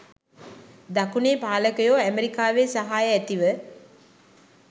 දකුණේ පාලකයෝ ඇමරිකාවේ සහාය ඇතිව